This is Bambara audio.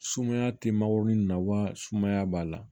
Sumaya tɛ magorun na wa sumaya b'a la